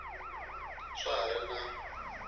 swa ha ri na n